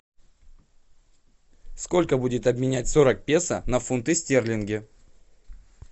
сколько будет обменять сорок песо на фунты стерлинги